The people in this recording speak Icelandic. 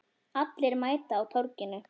Allir mæta á Torginu